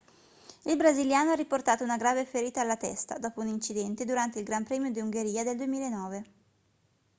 il brasiliano ha riportato una grave ferita alla testa dopo un incidente durante il gran premio d'ungheria del 2009